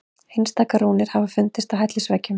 Einstaka rúnir hafa fundist á hellisveggjum.